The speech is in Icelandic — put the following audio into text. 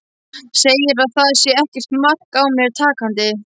Segir að það sé ekkert mark á mér takandi.